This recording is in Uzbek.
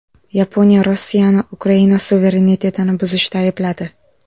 Yaponiya Rossiyani Ukraina suverenitetini buzishda aybladi.